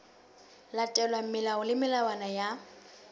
latelwa melao le melawana ya